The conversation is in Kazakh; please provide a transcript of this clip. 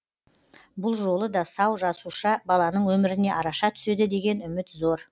бұл жолы да сау жасуша баланың өміріне араша түседі деген үміт зор